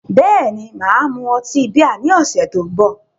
Bẹ́ẹ̀ni, mà á mu ọtí bíà ní ọ̀sẹ̀ tó ń bọ̀